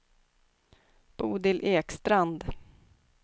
Bodil Ekstrand